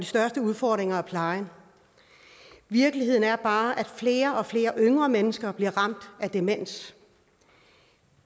største udfordring er plejen virkeligheden er bare at flere og flere yngre mennesker bliver ramt af demens